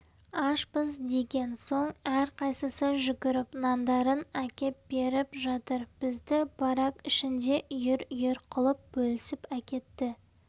ашпыз деген соң әрқайсысы жүгіріп нандарын әкеп беріп жатыр бізді барак ішінде үйір-үйір қылып бөлісіп әкетті